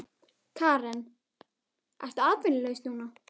Karen: Ertu atvinnulaus núna?